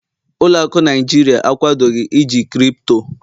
ụlọ akụ Naijiria akwadoghi iji ego Kripto